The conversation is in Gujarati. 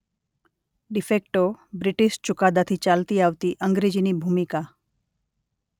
ડિ ફેક્ટો બ્રિટિશ ચૂકાદાથી ચાલતી આવતી અંગ્રેજીની ભૂમિકા.